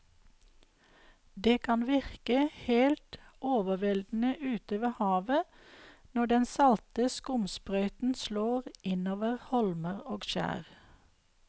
Det kan virke helt overveldende ute ved havet når den salte skumsprøyten slår innover holmer og skjær.